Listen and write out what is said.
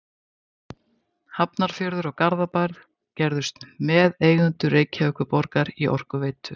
Hafnarfjörður og Garðabær gerðust meðeigendur Reykjavíkurborgar í Orkuveitu